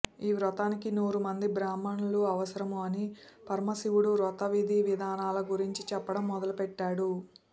ఈ వ్రతానికి నూరు మంది బ్రాహ్మణులు అవసరము అని పరమశివుడు వ్రత విధి విధానాల గురించి చెప్పడం మొదలు పెట్టాడు